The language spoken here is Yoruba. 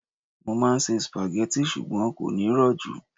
mo ma n se spaghetti, ṣugbọn kò ní ro ju